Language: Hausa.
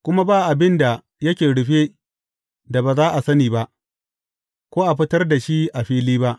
Kuma ba abin da yake rufe, da ba za a sani ba, ko a fitar da shi a fili ba.